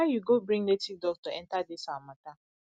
why you go bring native doctor enter dis our matter